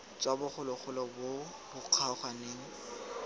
tswa bogologolo bo bo kgaoganeng